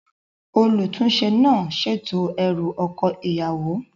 Olùtúnsẹ náà sètò erù oko ìyàwó